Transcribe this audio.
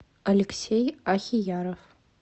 алексей ахияров